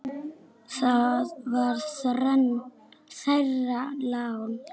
Það var þeirra lán.